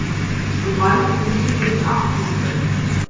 Við mældum lífið í afturför.